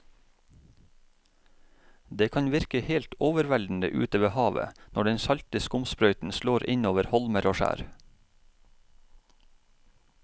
Det kan virke helt overveldende ute ved havet når den salte skumsprøyten slår innover holmer og skjær.